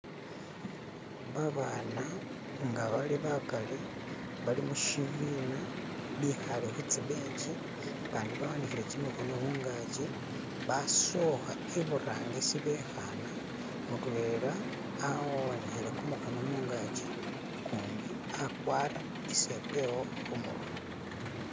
ba baana inga bali bakhali bali mushibiina bikhale khutsi benchi bandi ba wanikhile khimikhono mungachi basookha iburangisi bekhana mutwela awanikhile khumukhono mugachi gundi akwara isepewo khumurwe